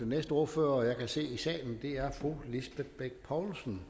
næste ordfører jeg kan se i salen er fru lisbeth bech poulsen